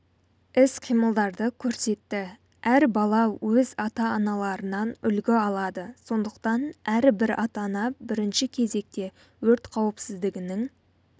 іс-қимылдарды көрсетті әр бала өз ата-аналарынан үлгі алады сондықтан әрбір ата-ана бірінші кезекте өрт қауіпсіздігінің